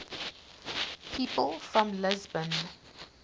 people from lisbon